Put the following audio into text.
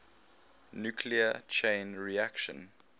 nuclear chain reaction